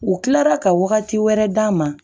U kilara ka wagati wɛrɛ d'a ma